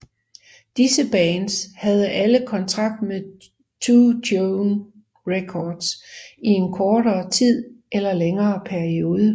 Disse bands havde alle kontrakt ved 2 Tone Records i en kortere eller længere periode